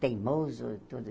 teimoso e tudo.